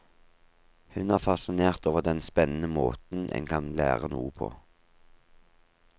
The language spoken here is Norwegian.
Hun er fascinert over den spennende måten en kan lære noe på.